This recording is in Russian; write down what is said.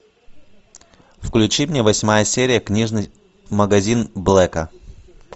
включи мне восьмая серия книжный магазин блэка